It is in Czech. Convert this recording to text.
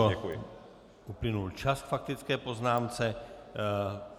Pane kolego, uplynul čas k faktické poznámce.